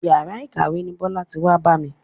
Yàrá ìkàwé ni Bọ́lá ti wá bá mi.